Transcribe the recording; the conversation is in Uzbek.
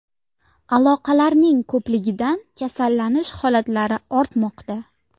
Aloqalarning ko‘pligidan kasallanish holatlari ortmoqda.